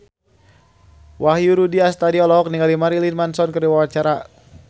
Wahyu Rudi Astadi olohok ningali Marilyn Manson keur diwawancara